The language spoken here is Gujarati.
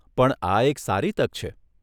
પણ આ એક સારી તક છે.